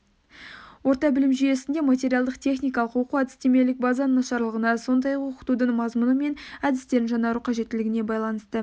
орта білім беру жүйесінде материалдық-техникалық оқу-әдістемелік базаның нашарлығына сондай-ақ оқытудың мазмұны мен әдістерін жаңарту қажеттілігіне байланысты